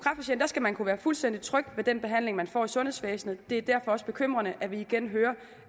skal man kunne være fuldstændig tryg ved den behandling man får i sundhedsvæsenet det er derfor også bekymrende at vi igen hører